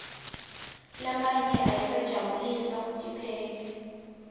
lamanye ayasijabulisa kuphela